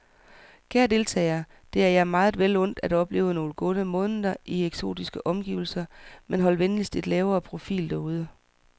Kære deltagere, det er jer meget vel undt at opleve nogle gode måneder i eksotiske omgivelser, men hold venligst en lavere profil derude.